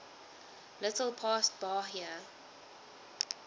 little past bahia